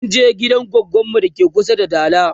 munje gidan goggon mu dake kusa da dala